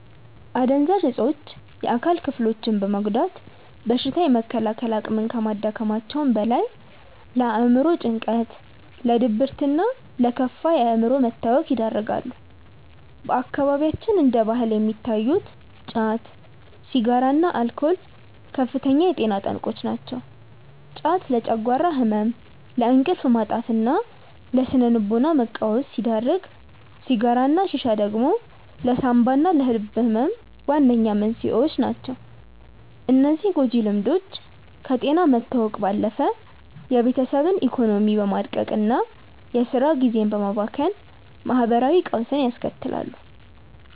አደንዛዥ እፆች የአካል ክፍሎችን በመጉዳት በሽታ የመከላከል አቅምን ከማዳከማቸውም በላይ፣ ለአእምሮ ጭንቀት፣ ለድብርትና ለከፋ የአእምሮ መታወክ ይዳርጋሉ። በአካባቢያችን እንደ ባህል የሚታዩት ጫት፣ ሲጋራና አልኮል ከፍተኛ የጤና ጠንቆች ናቸው። ጫት ለጨጓራ ህመም፣ ለእንቅልፍ ማጣትና ለስነ-ልቦና መቃወስ ሲዳርግ፣ ሲጋራና ሺሻ ደግሞ ለሳንባና ለልብ ህመም ዋነኛ መንስኤዎች ናቸው። እነዚህ ጎጂ ልምዶች ከጤና መታወክ ባለፈ የቤተሰብን ኢኮኖሚ በማድቀቅና የስራ ጊዜን በማባከን ማህበራዊ ቀውስ ያስከትላሉ።